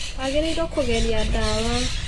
Wagĩrĩirwo kũgeria ndawa